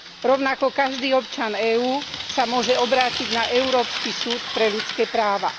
Rovnako každý občan EÚ sa môže obrátiť na Európsky súd pre ľudské práva.